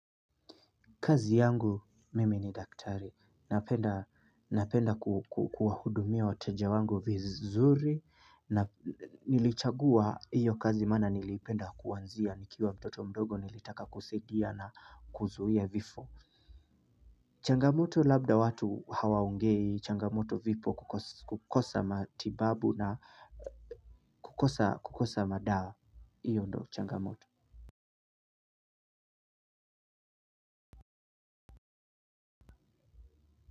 Kazi yangu mimi ni daktari napenda napenda kukuhudumia wateja wangu vizuri na nilichagua hiyo kazi mana nilipenda kuwanzia nikiwa mtoto mdogo nilitaka kusedia na kuzuhia vifo. Changamoto labda watu hawaongei changamoto vipo kukosa matibabu na kukosa kukosa madawa hiyo ndo changamoto.